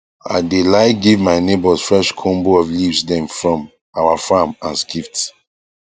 i dae like give my neighbours fresh combo of leaves dem from our farm as gift